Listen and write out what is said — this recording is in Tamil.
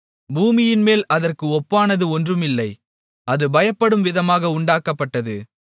பூமியின்மேல் அதற்கு ஒப்பானது ஒன்றுமில்லை அது பயப்படும்விதமாக உண்டாக்கப்பட்டது